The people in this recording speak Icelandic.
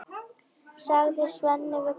sagði Svenni við Kobba.